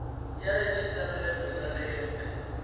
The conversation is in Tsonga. ya registrar lembe na lembe